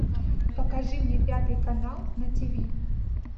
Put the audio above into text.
покажи мне пятый канал на тиви